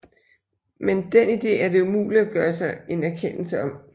Men dén ide er det umuligt at gøre sig en erkendelse om